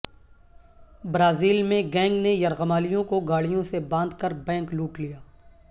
Brazil میں gang نے یرغمالیوں کو گاڑیوں سے باندھ کر بینک لوٹ لیا